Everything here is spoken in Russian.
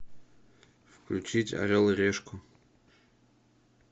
включить орел и решку